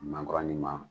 Mankɔrɔni ma